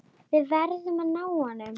Við verðum að ná honum.